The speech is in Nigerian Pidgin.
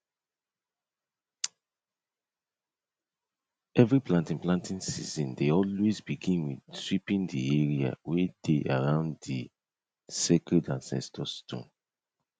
every planting planting season dey always begin with sweeping the area wey dey around the sacred ancestor stone